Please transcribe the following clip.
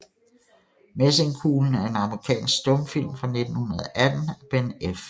Messingkuglen er en amerikansk stumfilm fra 1918 af Ben F